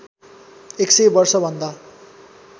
१ सय वर्षभन्दा